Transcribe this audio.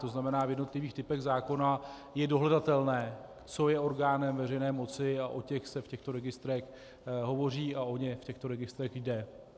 To znamená, v jednotlivých typech zákona je dohledatelné, co je orgánem veřejné moci, a o těch se v těchto registrech hovoří a o ně v těchto registrech jde.